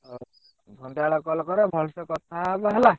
ହଉ ସନ୍ଧ୍ୟାବେଳେ call କର ଭଲସେ କଥା ହବା ହେଲା।